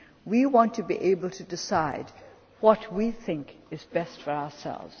destiny. We want to be able to decide what we think is best for ourselves.